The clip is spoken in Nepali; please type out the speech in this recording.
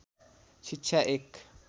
शिक्षा एक